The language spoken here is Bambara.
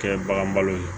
Kɛ bagan balo ye